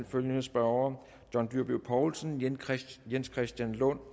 følgende spørgere john dyrby paulsen jens christian jens christian lund